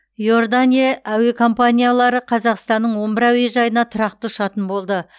иордания әуе компаниялары қазақстанның он бір әуежайына тұрақты ұшатын болды